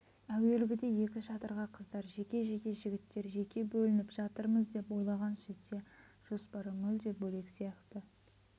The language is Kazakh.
әуелгіде екі шатырға қыздар жеке жігіттер жеке бөлініп жатармыз деп ойлаған сөйтсе жоспары мүлде бөлек сияқты